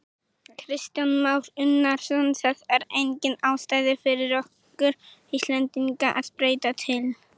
Kristján Már Unnarsson: Það er engin ástæða fyrir okkur Íslendinga að breyta til?